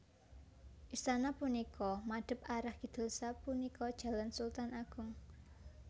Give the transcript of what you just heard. Istana punika madhep arah kidul sapunika Jalan Sultan Agung